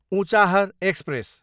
Unchahar express